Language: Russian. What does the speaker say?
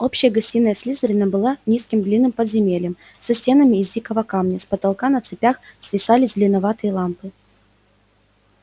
общая гостиная слизерина была низким длинным подземельем со стенами из дикого камня с потолка на цепях свисали зеленоватые лампы